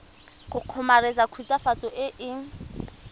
go kgomaretsa khutswafatso e e